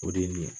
O de ye nin ye